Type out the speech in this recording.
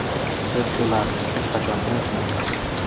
Biz ularni hech qachon unutmaymiz.